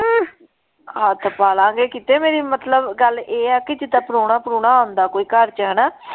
ਹੱਥ ਪਾ ਲਾਂਗੇ ਕਿਤੇ ਮੇਰੀ ਮਤਲਬ ਗੱਲ ਇਹ ਆ ਕਿ ਜਿਦਾਂ ਪ੍ਰਾਹੁਣਾ ਪ੍ਰਾਹੁਣਾ ਆਉਂਦਾ ਕੋਈ ਘਰ ਚ ਹੈਨਾ,